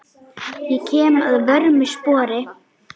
Ég kem að vörmu spori.